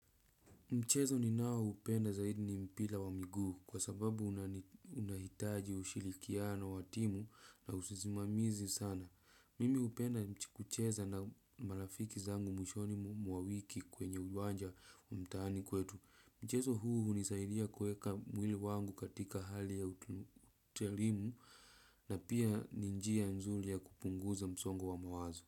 Mchezo ninao upenda zaidi ni mpira wa miguu kwa sababu unahitaji ushirikiano wa timu na usimamizi sana. Mimi hupenda kucheza na marafiki zangu mwishoni mwa wiki kwenye uwanja wa mtaani kwetu. Mchezo huu hunisaidia kueka mwili wangu katika hali ya uterimu na pia ni njia nzuri ya kupunguza msongo wa mawazo.